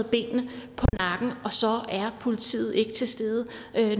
er politiet ikke til stede